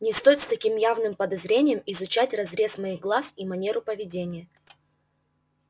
не стоит с таким явным подозрением изучать разрез моих глаз и манеру поведения